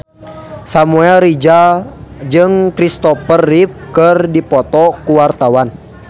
Samuel Rizal jeung Kristopher Reeve keur dipoto ku wartawan